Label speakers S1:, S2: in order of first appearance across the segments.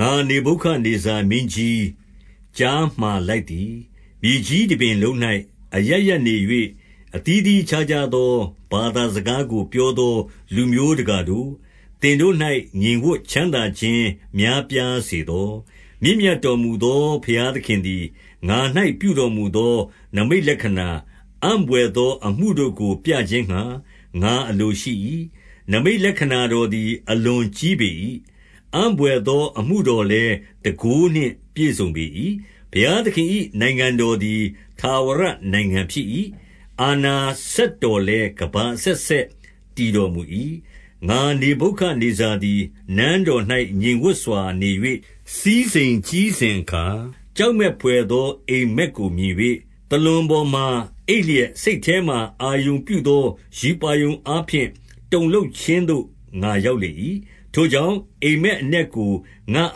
S1: ငါ နေဗုခဒ်နေဇာ မင်းကြီး ကြားမှာလိုက်သည်။ မြေကြီးတပြင်လုံး၌ အရပ်ရပ်နေ၍ အသီးသီး အခြားခြား သော ဘာသာစကားကို ပြောသောလူမျိုးတကာတို့၊ သင်တို့၌ ငြိမ်ဝပ်ချမ်းသာခြင်းများပြားစေသော။ 2 မြင့်မြတ်တော်မူသော ဘုရားသခင်သည် ငါ၌ ပြုတော်မူသော နိမိတ်လက္ခဏာ၊ အံ့ဘွယ်သောအမှုတို့ကို ပြခြင်းငှါ ငါအလိုရှိ၏။ 3 နိမိတ်လက္ခဏာတော်သည် အလွန်ကြီးပေ၏။ အံ့ဘွယ်သော အမှုတော်လည်း တန်ခိုးနှင့်ပြည်စုံပေ၏။ ဘုရားသခင်၏နိုင်ငံတော်သည် ထာဝရနိုင်ငံဖြစ်၏။ အာဏာစက်တော်လည်း ကမ္ဘာအဆက်ဆက် တည်တော် မူ၏။ 4 ငါနေဗုခဒ်နေဇာသည် နန်းတော်၌ ငြိမ်ဝပ်စွာ နေ၍ စည်းစိမ်ကြီးစဉ်အခါ၊ 5 ကြောက်မက်ဘွယ်သော အိပ်မက်ကို မြင်၍၊ သာလွန်ပေါ်မှာ အိပ်လျက် စိတ်ထဲ၌ အာရုံပြုသော ရူပါရုံ အားဖြင့် တုန်လှုပ်ခြင်းသို့ ငါရောက်လေ၏။ 6 ထိုကြောင့်၊ အိပ်မက်အနက်ကို ငါ့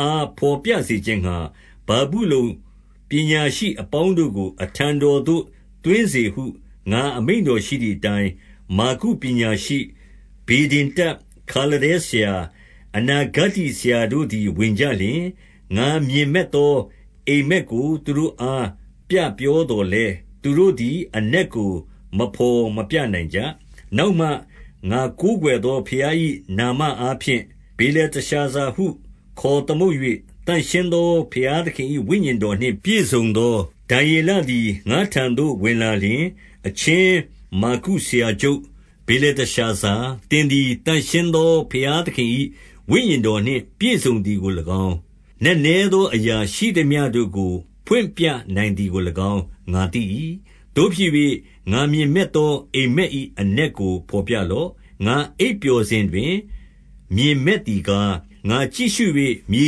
S1: အားဘော်ပြ စေခြင်းငှါ၊ ဗာဗုလုန်ပညာရှိအပေါင်းတို့ကို အထံတော်သို့ သွင်းစေဟု ငါအမိန့်တော်ရှိသည်အတိုင်း၊ 7 မာဂုပညာရှိ၊ ဗေဒင်တတ်၊ ခါလဒဲဆရာ၊ အနာ ဂတ္တိဆရာတို့သည် ဝင်ကြလျှင်၊ ငါမြင်မက်သော အိပ်မက် ကို သူတို့အား ပြပြောသော်လည်း၊ သူတို့သည် အနက်ကို မဘော်မပြနိုင်ကြ။ 8 နောက်မှ ငါကိုးကွယ်သောဘုရား၏ နာမအား ဖြင့် ဗေလတရှာဇာဟုခေါ်သမုတ်၍၊ သန့်ရှင်းသော ဘုရားသခင်၏ ဝိညာဉ်တော်နှင့် ပြည့်စုံသော ဒံယေလ သည် ငါ့ထံသို့ဝင်လာလျှင်၊ 9 အချင်းမာဂုဆရာချုပ် ဗေလတရှာဇာ၊ သင် သည် သန့်ရှင်းသော ဘုရားသခင်၏ ဝိညာဉ်တော်နှင့် ပြည့်စုံသည်ကို၎င်း၊ နက်နဲသောအရာရှိသမျှတို့ကို ဖွင့်ပြနိုင်သည်ကို၎င်း ငါသိ၏။ သို့ဖြစ်၍၊ ငါမြင်မက်သော အိပ်မက်၏ အနက်ကိုဘော်ပြလော့။ 10 ငါအိပ်ပျော်စဉ်တွင် မြင်မက်သည်ကား၊ ငါကြည့်ရှု၍ မြေ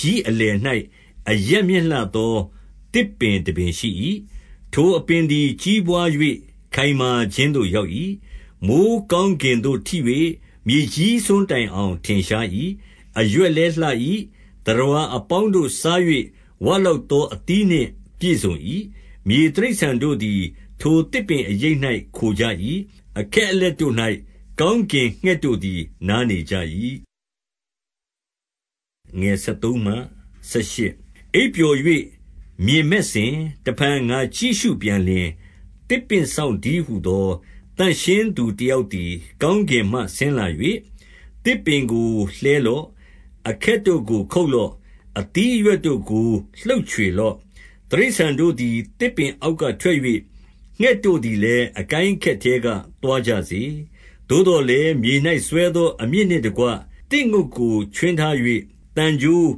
S1: ကြီးအ လယ်၌ အရပ်မြင့်လှသော သစ်ပင်တပင်ရှိ၏။ 11 ထိုအပင်သည် ကြီးပွား၍ ခိုင်မာခြင်းသို့ ရောက်၏။ မိုဃ်းကောင်းကင်သို့ထိ၍ မြေကြီးစွန်း တိုင်အောင် ထင်ရှား၏။ 12 အရွက်လည်းလှ၏။ သတ္တဝါအပေါင်းတို့စား၍ ဝလောက်သော အသီးနှင့်ပြည့်စုံ၏။ မြေတိရစ္ဆာန်တို့သည် ထိုသစ်ပင်အရိပ်၌ ခိုကြ၏။ အခက်အလက်တို့၌ ကောင်း ကင်ငှက်တို့သည် နားနေကြ၏။ 13 အိပ်ပျော်၍ မြင်မက်စဉ်၊ တဖန်ငါကြည့်ရှုပြန် လျှင်၊ သစ်ပင်စောင့်တည်းဟူသော သန့်ရှင်းသူတယောက် သည် ကောင်းကင်မှ ဆင်းလာ၍၊ 14 သစ်ပင်ကိုလှဲလော့။ အခက်တို့ကို ခုတ်လော့။ အသီးအရွက်တို့ကို လှုပ်ချွေလော့။ တိရစ္ဆာန်တို့သည် သစ်ပင်အောက်ကထွက်၍၊ ငှက်တို့သည်လည်း အကိုင်း အခက်ထဲက သွားကြစေ။ 15 သို့သော်လည်း၊ မြေ၌စွဲသော အမြစ်နှင့်တကွ သစ်ငုတ်တိုခြွင်းထား၍၊ သံကြိုး၊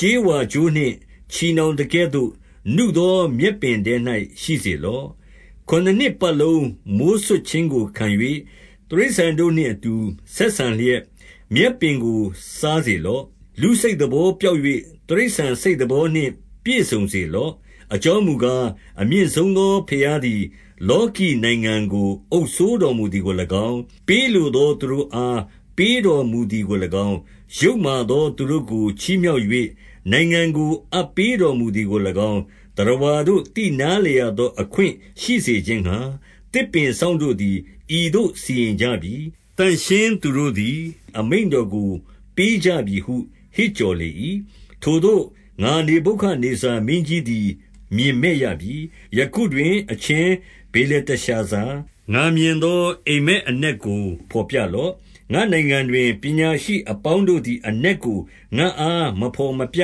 S1: ကြေးဝါကြိုးနှင့် ချည်နှောင်သကဲ့သို့ နုသောမြက်ပင်ထဲ၌ ရှိစေလော့။ ခုနစ်နှစ်ပတ်လုံး မိုဃ်းစွတ်ခြင်းကိုခံ၍၊ တိရစ္ဆာန်တို့နှင့် အတူ ဆက်ဆံလျက် မြက်ပင်ကို စားစေလော့။ 16 လူစိတ်သဘောပျောက်၍ တိရစ္ဆာန်စိတ် သဘောနှင့် ပြည့်စုံစေလော့။ 17 အကြောင်းမူကား၊ အမြင့်ဆုံးသောဘုရားသည် လောကီနိုင်ငံကို အုပ်စိုးတော်မူသည်ကို၎င်း၊ ပေးလိုသော သူတို့အား ပေးတော်မူသည်ကို၎င်း၊ ယုတ်မာသော သူတို့ကို ချီးမြှောက်၍ နိုင်ငံကို အပ်ပေးတော်မူသည်ကို၎င်း သတ္တဝါတို့ သိနားလည်ရသော အခွင့်ရှိစေခြင်းငှါ၊ သစ်ပင်စောင့်တို့သည် ဤသို့စီရင်ကြပြီ။ သန့်ရှင်းသူတို့ သည် အမိန့်တော်ကို ပေးကြပြီဟု ဟစ်ကြော်လေ၏။ 18 ထိုသို့ ငါနေဗုခဒ်နေဇာမင်းကြီးသည် မြင်မက် ရပြီ။ ယခုတွင် အချင်းဗေလတရှာဇာ၊ ငါမြင်သော အိပ်မက်အနက်ကိုဘော်ပြလော့။ ငါ့နိုင်ငံတွင် ပညာရှိ အပေါင်းတို့သည် အနက်ကို ငါ့အား မဘော်မပြ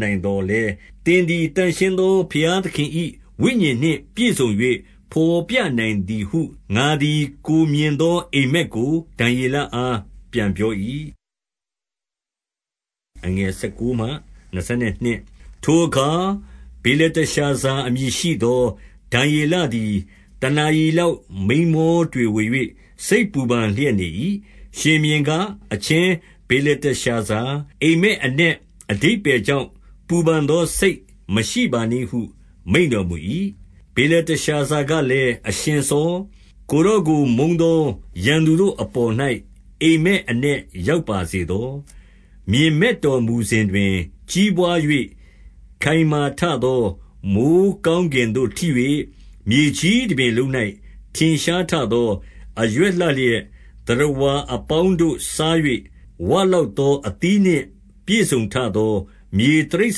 S1: နိုင်သော် လည်း၊ သင်သည် သန့်ရှင်းသော ဘုရားသခင်၏ ဝိညာဉ် နှင့်ပြည့်စုံ၍ ဘော်ပြနိုင်သည်ဟု ငါသည် ကိုယ်မြင်သော အိပ်မက်ကို ဒံယေလအား ပြန်ပြော၏။ 19 ထိုအခါ ဗေလတရှာဇာ အမည်ရှိသော ဒံယေ လသည် တနာရီလောက် မိန်းမောတွေဝေ၍ စိတ်ပူပန်လျက် နေ၏။ ရှင်ဘုရင်က၊ အချင်းဗေလ တရှာဇာ၊ အိပ်မက် အနက် အဓိပ္ပါယ်ကြောင့် ပူပန်သောစိတ်မရှိပါနှင့်ဟု မိန့်တော်မူ၏။ ဗေလတရှာဇာကလည်း၊ အရှင်စော၊ ကိုယ်တော်ကို မုန်းသော ရန်သူတို့အပေါ်၌ အိပ်မက် အနက် ရောက်ပါစေသော။ 20 မြင်မက်တော်မူစဉ်တွင် ကြီးပွား၍ ခိုင်မာ ထသော၊ မိုဃ်းကောင်း ကင်သို့ထိ၍ မြေကြီးတပြင်လုံး၌ ထင်ရှားထသော၊ 21 အရွက်လှလျက်၊ သတ္တဝါ အပေါင်းတို့ စား၍ ဝလောက်သော အသီးနှင့် ပြည့်စုံထသော၊ မြေတိရစ္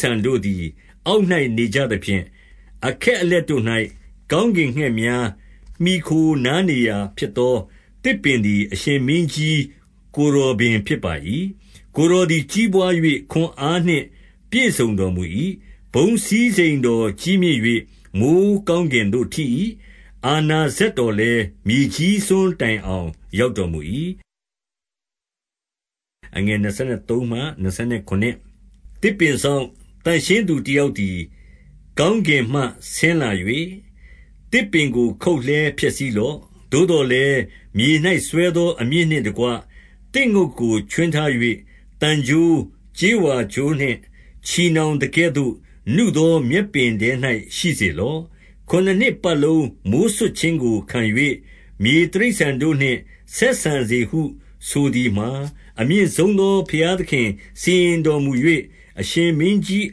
S1: ဆာန် တို့သည် အောက်၌နေကြသဖြင့်၊ အခက်အလက်တို့၌ ကောင်းကင်ငှက်များ မှီခိုနားနေရာဖြစ်သော သစ်ပင် သည်၊ 22 အရှင်မင်းကြီး၊ ကိုယ်တော်ပင် ဖြစ်ပါ၏။ ကိုယ်တော်သည် ကြီးပွား၍ ခွန်အားနှင့်ပြည့်စုံတော်မူ၏။ ဘုန်းစည်းစိမ်တော်ကြီးမြင့်၍ မိုဃ်း ကောင်းကင်သို့ထိ၏။ အာဏာစက်တော်လည်း၊ မြေကြီးစွန်းတိုင်အောင် ရောက် တော်မူ၏။ 23 သစ်ပင်စောင့်၊ သန့်ရှင်းသူတယောက်သည် ကောင်းကင်မှ ဆင်းလာ၍၊ သစ်ပင်ကို ခုတ်လှဲဖျက် ဆီးလော့။ သို့သော်လည်း၊ မြေ၌စွဲသော အမြစ်နှင့်တကွ သစ်ငုတ်ကို ခြွင်းထား၍ သံကြိုး၊ ကြေးဝါကြိုးနှင့် ချည်နှောင်သကဲ့သို့ နုသောမြက်ပင်ထဲ၌ရှိစေလော့။ ခုနစ် နှစ်ပတ်လုံး မိုဃ်းစွတ်ခြင်းကို ခံ၍၊ မြေတိရစ္ဆာန်တို့နှင့် ဆက်ဆံစေဟုဆိုသည်မှာ၊ 24 အမြင့်ဆုံးသော ဘုရားသခင်စီရင်တော်မူ၍၊ အရှင်မင်းကြီး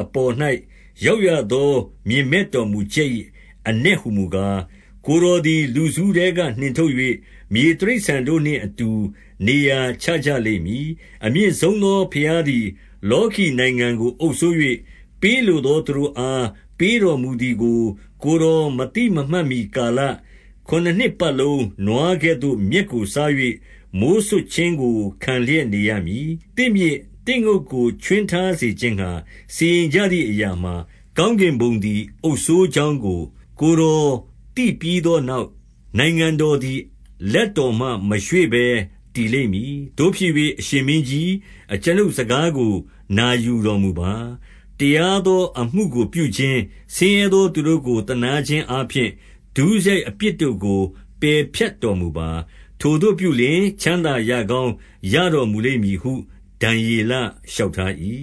S1: အပေါ်၌ ရောက်ရသော မြင်မက်တော် မူချက်၏ အနက်ဟူမူကား၊ 25 ကိုယ်တော်ကို လူစုထဲက နှင်ထုတ်၍၊ မြေ တိရစ္ဆာန်တို့နှင့်အတူ နေရာချကြလိမ့်မည်။ အမြင့်ဆုံး သောဘုရားသည် လောကီနိုင်ငံကို အုပ်စိုး၍၊ ပေးလို သော သူတို့အား ပေးတော်မူသည်ကို ကိုယ်တော်မသိ မမှတ်မှီကာလ၊ ခုနစ်နှစ်ပတ်လုံးနွားကဲ့သို့ မြက်ကိုစား၍၊ မိုဃ်းစွတ်ခြင်းကို ခံလျက်နေရမည်။ 26 သစ်မြစ်၊ သစ်ငုတ်ကိုခြွင်းထားစေခြင်းငှါ စီရင် ကြသည်အရာမှာ၊ ကောင်းကင်ဘုံသည် အုပ်စိုးကြောင်း ကို ကိုယ်တော်သိပြီးသောနောက်၊ နိုင်ငံတော်သည် လက်တော်မှ မရွေ့ဘဲ တည်လိမ့်မည်။ 27 သို့ဖြစ်၍၊ အရှင်မင်းကြီး၊ အကျွန်ုပ်စကားကို နာယူတော်မူပါ။ တရားသော အမှုကိုပြုခြင်း၊ ဆင်းရဲ သောသူတို့ကို သနားခြင်းအားဖြင့် ဒုစရိုက်အပြစ်တို့ကို ပယ်ဖြတ်တော်မူပါ။ ထိုသို့ပြုလျှင်၊ ချမ်းသာရကောင်း ရတော်မူလိမ့်မည်ဟု ဒံယေလလျှောက်ထား၏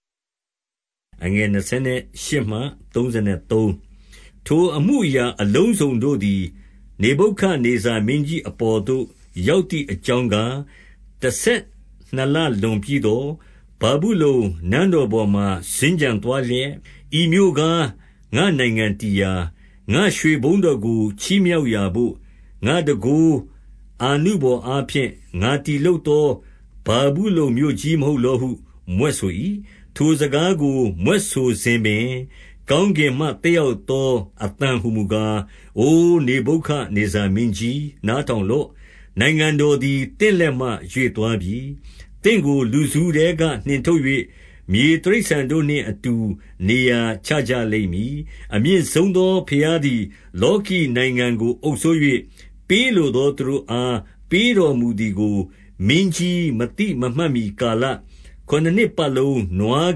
S1: ။ 28 ထိုအမှုအရာအလုံးစုံတို့သည် နေဗုခဒ်နေဇာ မင်းကြီး အပေါ်သို့ ရောက်သည်အကြောင်းကား၊ 29 တဆယ်နှစ်လလွန်ပြီးသော်၊ ဗာဗုလုန်နန်းတော် ပေါ်မှာ စင်္ကြံသွားလျက်၊ 30 ဤမြို့ကား၊ ငါ့နိုင်ငံတည်ရာ၊ ငါ့ရွှေဘုန်းတော်ကို ချီးမြှောက်ရာဘို့၊ ငါ့တန်ခိုး အာနုဘော်အားဖြင့် ငါတည် လုပ်သော ဗာဗုလုန်မြို့ကြီး မဟုတ်လောဟု မြွက်ဆို၏။ 31 ထိုစကားကို မြွက်ဆိုစဉ်ပင်၊ ကောင်းကင်မှ သက်ရောက်သော အသံဟူမူကား၊ အိုနေဗုခဒ်နေဇာ မင်းကြီး၊ နားထောင်လော့။ နိုင်ငံတော်သည် သင့်လက်မှ ရွေ့သွားပြီ။ 32 သင့်ကို လူစုထဲကနှင်ထုတ်၍၊ မြေတိရစ္ဆာန်တို့ နှင့်အတူ နေရာချကြလိမ့်မည်။ အမြင့်ဆုံးသောဘုရား သည် လောကီနိုင်ငံကိုအုပ်စိုး၍၊ ပေးလိုသောသူတို့အား ပေးတော်မူသည်ကို မင်းကြီးမသိမမှတ်မှီကာလ၊ ခုနစ်နှစ် ပတ်လုံးနွား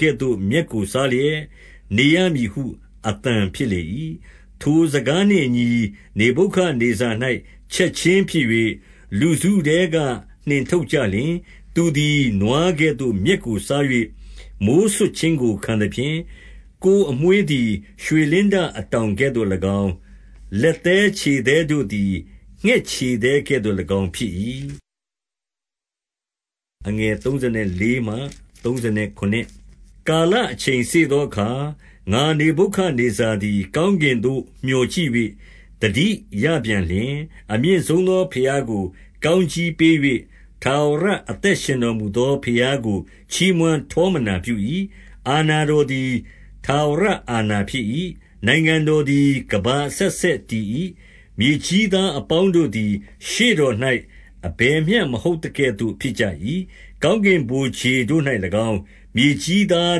S1: ကဲ့သို့ မြက်ကိုစားလျက်နေရမည်ဟု အသံ ဖြစ်လေ၏။ 33 ထိုစကားနှင့်အညီ နေဗုခဒ်နေဇာ၌ ချက်ခြင်း ဖြစ်၍၊ လူစုထဲက နှင်ထုတ်ကြလျက်၊ သူသည်နွားကဲ့သို့ မြက်ကိုစား၍ မိုဃ်းစွတ်ခြင်းကို ခံသဖြင့်၊ ကိုယ်အမွေး သည် ရွှေလင်းတအတောင်ကဲ့သို့၎င်း၊ လက်သည်း ခြေသည်းတို့သည် ငှက်ခြေသည်းကဲ့သို့၎င်းဖြစ်၏။ 34 ကာလအချိန်စေ့သောအခါ၊ ငါနေဗုခဒ်နေဇာ သည် ကောင်းကင်သို့ မျှော်ကြည့်၍ သတိရပြန်လျှင်၊ အမြင့်ဆုံးသောဘုရားကို ကောင်းကြီးပေး၍၊ ထာဝရ အသက်ရှင်တော်မူသော ဘုရားကို ချီးမွမ်းထောမနာ ပြု၏။ အာဏာတော်သည် ထာဝရအာဏာဖြစ်၏။ နိုင်ငံတော်သည် ကမ္ဘာအဆက်ဆက်တည်၏။ 35 မြေကြီးသားအပေါင်းတို့သည် ရှေ့တော်၌ အဘယ်မျှမဟုတ်သကဲ့သို့ဖြစ်ကြ၏။ ကောင်းကင်ဗိုလ်ခြေ တို့၌၎င်း၊ မြေကြီးသား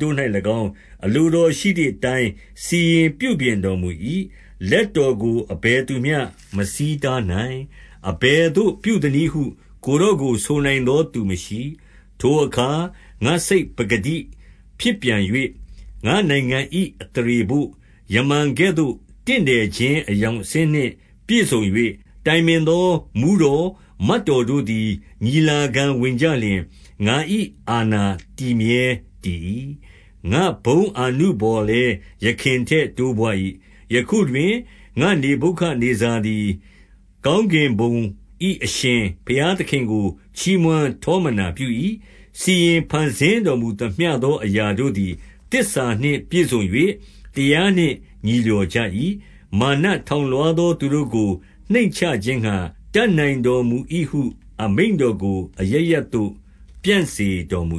S1: တို့၌၎င်း အလိုတော်ရှိသည်အတိုင်း စီရင်ပြုပြင်တော်မူ၏။ လက်တော်ကို အဘယ်သူမျှ မဆီးတားနိုင်။ အဘယ်သို့ ပြုသနည်းဟု ကိုယ်တော်ကို ဆိုနိုင်သောသူ မရှိ။ 36 ထိုအခါ ငါ့စိတ်ပကတိဖြစ်ပြန်၍၊ ငါ့နိုင်ငံ၏ အသရေဘို့ ယမန်ကဲ့သို့ တင့်တယ်ခြင်း အရောင်အဆင်း နှင့် ပြည့်စုံ၍၊ တိုင်ပင်သော မှူးတော် မတ်တော်တို့သည် ညီလာခံဝင်ကြလျှင်၊ ငါ၏အာဏာတည်မြဲတည်၏။ ငါ့ဘုန်းအာနုဘော်လည်း ယခင်ထက် တိုးပွါး၏။ 37 ယခုတွင် ငါ့နေဗုခဒ်နေဇာသည် ကောင်းကင် ဘုံ၏ အရှင်ဘုရားသခင်ကို ချီးမွမ်းထောပနာပြု၏။ စီရင်ဖန် ဆင်းတော်မူသမျှသော အရာတို့သည် သစ္စာနှင့် ပြည့်စုံ၍တရားနှင့် ညီလျော်ကြ၏။ မာနထောင် လွှားသော သူတို့ကို နှိမ်ချခြင်းငှါ တတ်နိုင်တော်မူ၏ဟု အမိန့်တော်ကို အရပ်ရပ်သို့ ပြန့်စေတော်မူ